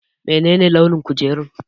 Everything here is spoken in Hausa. Menene launin kujerun?